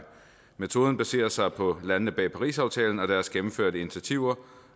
metoden baserer sig på landene bag parisaftalen og deres gennemførte initiativer